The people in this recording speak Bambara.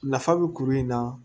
Nafa bɛ kuru in na